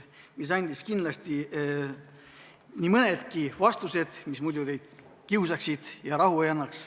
Need andsid kindlasti nii mõnedki vastused, mis muidu kõiki kiusaksid ja rahu ei annaks.